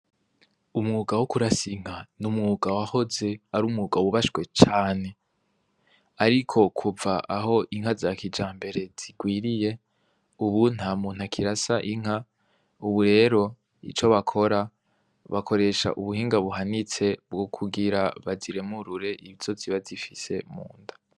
Umwuga wo kurasinka ni umwuga wahoze ari umwugawo ubashwe cane, ariko kuva aho inka za kija mbere zigwiriye, ubu nta muntu akirasa inka, ubu rero ico bakora bakoresha ubuhinga buhanitse bwo kugira baziremurure ibisozi bazie shise mu nda.